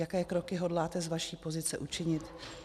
Jaké kroky hodláte z vaší pozice učinit?